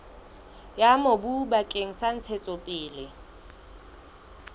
ya mobu bakeng sa ntshetsopele